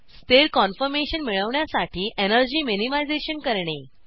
स्थिर कॉन्फॉर्मेशन मिळवण्यासाठी energy minimisation करणे